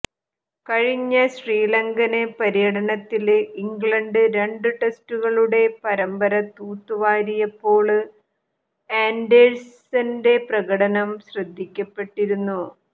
കഴിഞ്ഞ ശ്രീലങ്കന് പര്യടനത്തില് ഇംഗ്ലണ്ട് രണ്ടു ടെസ്റ്റുകളുടെ പരമ്പര തൂത്തുവാരിയപ്പോള് ആന്ഡേഴ്സന്റെ പ്രകടനം ശ്രദ്ധിക്കപ്പെട്ടിരുന്നു